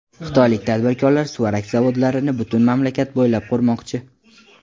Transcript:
Xitoylik tadbirkorlar suvarak zavodlarini butun mamlakat bo‘ylab qurmoqchi.